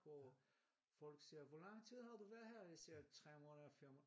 Og folk siger hvor lang tid har du været her? Jeg siger 3 måneder 4 måneder